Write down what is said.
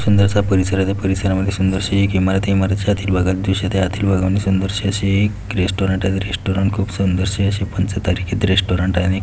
सुंदरस परिसर आहे त्या परिसरामध्ये सुंदरस एक इमारत आहे त्या इमारतिच्या आतील भागात सुंदरसे असे एक रेस्टॉरंट आहे रेस्टॉरंटात खूप सुंदरशे कोणच तरी रेस्टॉरंट आहे आणि--